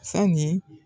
Sanni